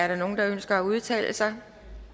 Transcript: nogen der ønsker at udtale sig